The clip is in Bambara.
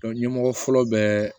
ɲɛmɔgɔ fɔlɔ bɛ